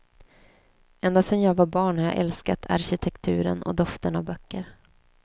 Ända sen jag var barn har jag älskat arkitekturen och doften av böcker.